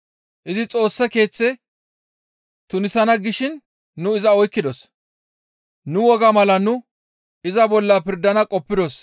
Izi Xoossa Keeththe tunisana gishin nu iza oykkidos. [Nu wogaa mala nu iza bolla pirdana qoppidos;